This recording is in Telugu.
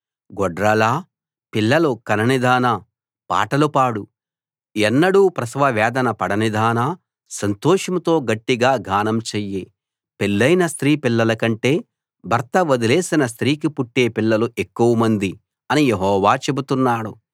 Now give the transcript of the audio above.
గొడ్రాలా పిల్లలు కననిదానా పాటలు పాడు ఎన్నడూ ప్రసవవేదన పడనిదానా సంతోషంతో గట్టిగా గానం చెయ్యి పెళ్ళయిన స్త్రీ పిల్లలకంటే భర్త వదిలేసిన స్త్రీకి పుట్టే పిల్లలు ఎక్కువమంది అని యెహోవా చెబుతున్నాడు